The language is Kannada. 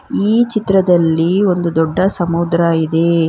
ಈ ಚಿತ್ರದಲ್ಲಿ ಒಂದು ದೊಡ್ಡ ಸಮುದ್ರ ಇದೆ.